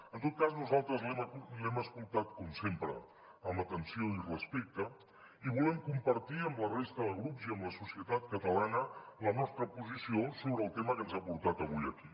en tot cas nosaltres l’hem escoltat com sempre amb atenció i respecte i volem compartir amb la resta de grups i amb la societat catalana la nostra posició sobre el tema que ens ha portat avui aquí